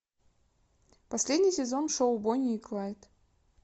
последний сезон шоу бонни и клайд